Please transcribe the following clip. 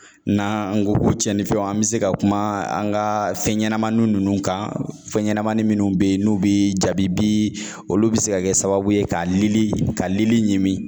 N'an ko ko cɛnifɛnw an be se ka kuma an ka fɛnɲɛnamanin ninnu kan fɛnɲɛnama minnu be yen n'u bi jabibi olu bi se ka kɛ sababu ye ka lili ka lili ɲimi